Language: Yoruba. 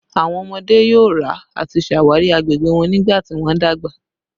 Awọn ọmọde yoo ra ati ṣawari awọn agbegbe wọn nigbati wọn dagba